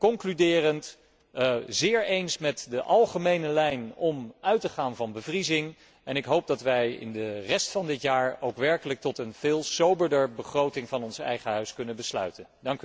Concluderend, ik ben het zeer eens met de algemene lijn om uit te gaan van bevriezing en ik hoop dat wij in de rest van dit jaar ook werkelijk tot een veel soberder begroting van ons eigen Huis kunnen besluiten.